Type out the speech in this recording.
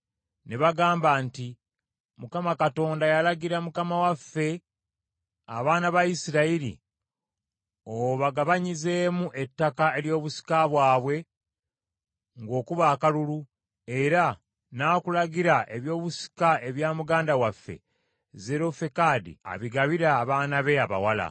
Ne bagamba nti, “ Mukama Katonda yalagira mukama waffe, abaana ba Isirayiri obagabanyizeemu ettaka ery’obusika bwabwe ng’okuba akalulu, era n’akulagira ebyobusika ebya muganda waffe Zerofekadi abigabire abaana be abawala.